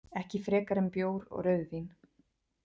Ekki frekar en bjór og rauðvín.